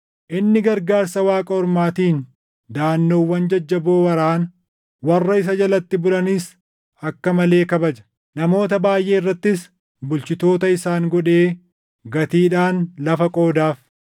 Inni gargaarsa waaqa ormaatiin daʼannoowwan jajjaboo waraana; warra isa jalatti bulanis akka malee kabaja. Namoota baayʼee irrattis bulchitoota isaan godhee gatiidhaan lafa qoodaaf.